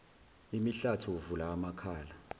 imihlathi uvula amakhala